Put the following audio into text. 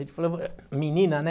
Ele falou, menina, né?